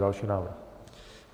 Další návrh.